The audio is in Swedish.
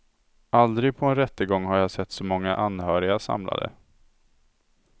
Aldrig på en rättegång har jag sett så många anhöriga samlade.